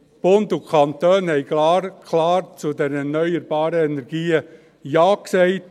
Bund und Kantone haben zu diesen erneuerbaren Energien klar Ja gesagt.